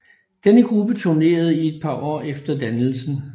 Denne gruppe turnerede i et par år efter dannelsen